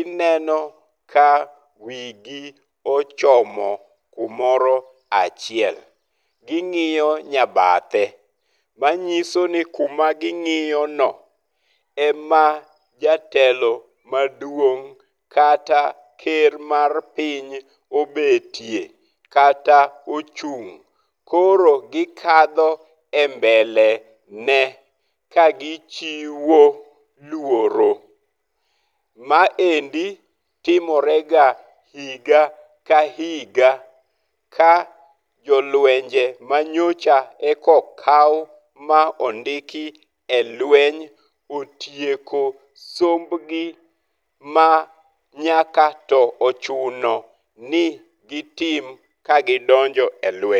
ineno ka wigi ochomo kumoro achiel. Ging'iyo nyabathe . Manyiso ni kuma ging'iyono e ma jatelo maduong' kata ker mar piny obetie kata ochung'. Koro gikadho e mbele ne ka gichiwo luoro. Maendi tomorega higa ka higa ka jolwenje manyocha e ko kaw ma ondiki e lweny otieko somombgi ma nyaka to ochuno ni gitim ka gidonjo e lweny.